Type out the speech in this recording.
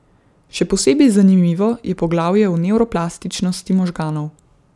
Še posebej zanimivo je poglavje o nevroplastičnosti možganov.